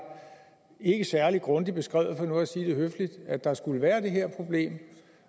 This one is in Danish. særlig grundigt beskrevet for nu at sige det høfligt at der skulle være det her problem